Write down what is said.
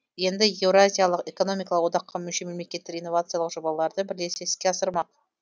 енді еуразиялық экономикалық одаққа мүше мемлекеттер инновациялық жобаларды бірлесе іске асырмақ